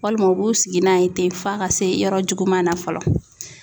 Walima u b'u sigi n'a ye ten f'a ka se yɔrɔ juguman na fɔlɔ.